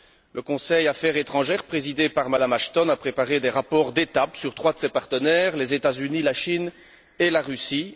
Le Conseil Affaires étrangères, présidé par Mme Ashton, a préparé des rapports d'étape sur trois de ses partenaires, les États Unis, la Chine et la Russie.